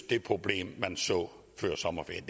det problem man så før sommerferien